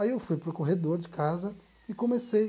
Aí eu fui para o corredor de casa e comecei.